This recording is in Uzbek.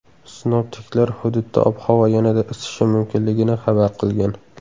Sinoptiklar hududda ob-havo yanada isishi mumkinligini xabar qilgan.